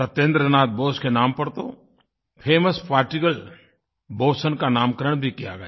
सत्येन्द्र नाथ बोस के नाम पर तो फेमस पार्टिकल बोसों का नामकरण भी किया गया